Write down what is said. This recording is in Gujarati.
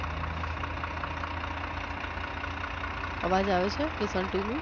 અવાજ આવે છે? listen to me